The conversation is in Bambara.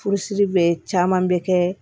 Furusiri bɛ caman bɛ kɛ